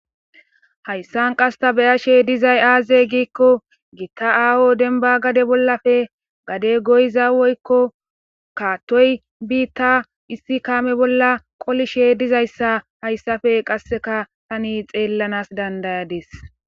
Hayssan qassi ta beashe diizay aaze giiko giita aho dembba gaade bollappe gadde goyizza woykko kaatoy biitta issi kaame bolla qollishe diizayssa hayssape qasseka taani xellanas dandayadis.